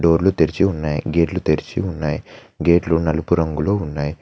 డోర్లు తెరిచి ఉన్నాయి గేట్లు తెరిచి ఉన్నాయి గేట్లు నలుపు రంగులో ఉన్నాయి.